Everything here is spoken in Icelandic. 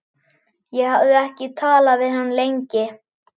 Ég hafði ekki talað við hann lengi.